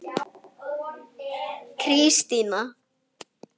Hlífar